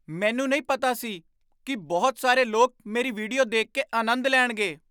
ਮੈਨੂੰ ਪਤਾ ਨਹੀਂ ਸੀ ਕਿ ਬਹੁਤ ਸਾਰੇ ਲੋਕ ਮੇਰੀ ਵੀਡੀਓ ਦੇਖ ਕੇ ਆਨੰਦ ਲੈਣਗੇ!